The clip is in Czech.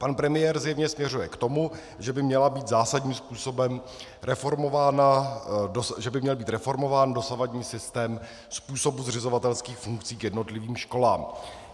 Pan premiér zřejmě směřuje k tomu, že by měl být zásadním způsobem reformován dosavadní systém způsobu zřizovatelských funkcí k jednotlivým školám.